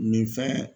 Nin fɛn